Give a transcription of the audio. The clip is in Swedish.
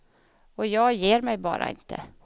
Och jag ger mig bara inte.